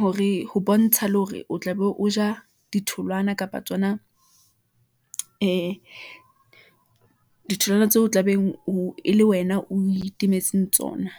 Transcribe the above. hore ho bontsha le hore o tlabe o ja ditholwana kapa tsona ee ditholwana tseo tla beng o e le wena, o itemetseng tsona.